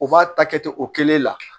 O b'a ta kɛ o kelen la